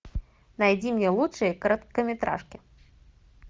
найди мне лучшие короткометражки